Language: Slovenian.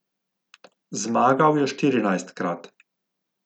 Zmagal je štirinajstkrat.